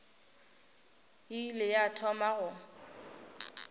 e ile ya thoma go